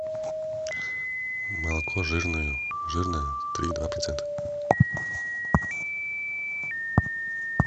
молоко жирное жирное три и два процента